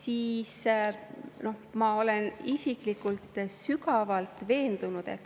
Aga ma olen isiklikult sügavalt veendunud.